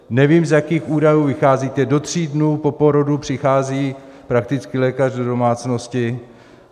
Nevím, z jakých údajů vycházíte - do tří dnů po porodu přichází praktický lékař do domácnosti.